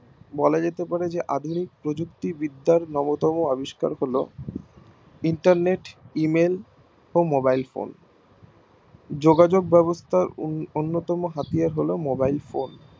বলা যেতে পারে যে আধুনিক প্রযুক্তি বিদ্যার নব্বতম আবিষ্কার হলো internetemail ও mobile phone যোগাযোগ ব্যাবস্থার অন্যতম হাড়িয়ার হলো mobile phone